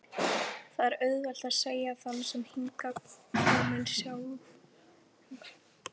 Það er auðvelt að segja fyrir þann sem hingað er kominn sjálfviljugur.